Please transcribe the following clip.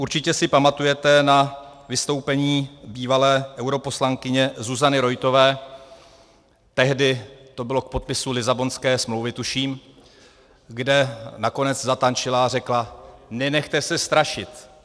Určitě si pamatujete na vystoupení bývalé europoslankyně Zuzany Roithové, tehdy to bylo k podpisu Lisabonské smlouvy, tuším, kde nakonec zatančila a řekla: nenechte se strašit.